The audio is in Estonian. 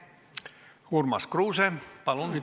Urmas Kruuse, palun!